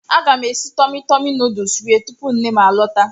Aga m esi Tọmi Tọmi nuduls rie tupu nnem a lọta.